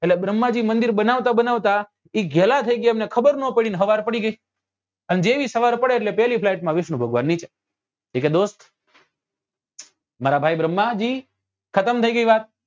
એટલે ભ્ર્મ્હાં જી મંદિર બનાવતા બનાવતા એ ઘેલા થઇ ગયા એટલે એમને ખબર નાં પડી ને સવાર પડી ગઈ અને જેવી સવાર પડે એટલે પેલ્લી flight માં વિષ્ણુ ભગવાન નીચે એ કે દોસ્ત મારા ભાઈ ભ્રમ્હાં જી ખતમ થઇ ગઈ વાત